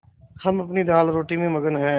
हम अपनी दालरोटी में मगन हैं